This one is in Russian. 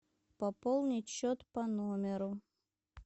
пополнить счет по номеру